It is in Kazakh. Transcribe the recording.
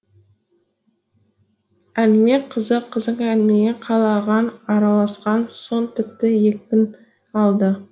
әңгіме қызық қызық әңгімеге қал ағаң араласқан соң тіпті екпін алды